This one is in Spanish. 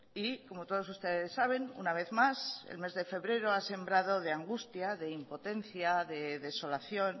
y como todos ustedes saben una vez más el mes de febrero ha sembrado de angustia de impotencia de desolación